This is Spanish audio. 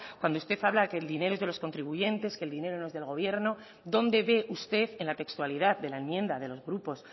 cuando usted habla de que el dinero es de los contribuyentes que el dinero no es del gobierno dónde ve usted en la textualidad de la enmienda de los grupos